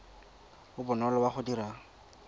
o bonolo wa go dira